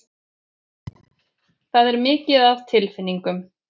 Það er mikið af tilfinningum.